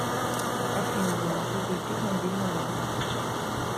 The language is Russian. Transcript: афина не могу зайти в мобильный банк